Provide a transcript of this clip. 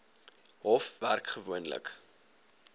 hof werk gewoonlik